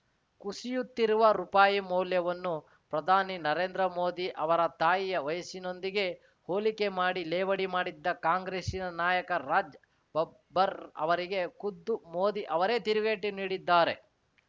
ಕುಸಿಯುತ್ತಿರುವ ರುಪಾಯಿ ಮೌಲ್ಯವನ್ನು ಪ್ರಧಾನಿ ನರೇಂದ್ರ ಮೋದಿ ಅವರ ತಾಯಿಯ ವಯಸ್ಸಿನೊಂದಿಗೆ ಹೋಲಿಕೆ ಮಾಡಿ ಲೇವಡಿ ಮಾಡಿದ್ದ ಕಾಂಗ್ರೆಸ್ಸಿನ ನಾಯಕ ರಾಜ್‌ ಬಬ್ಬರ್‌ ಅವರಿಗೆ ಖುದ್ದು ಮೋದಿ ಅವರೇ ತಿರುಗೇಟು ನೀಡಿದ್ದಾರೆ